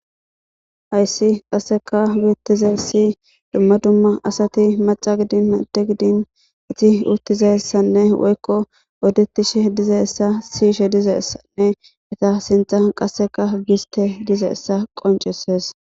Hayssi qasseka bittizasi dumma dumma asati macca gidin adde gidin izi uttizayssanne woykko odetishe dizessa siishe dizeessanne eta sintha qasseka giste dizeessa qonceses.